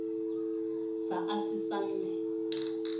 sa a ha se ame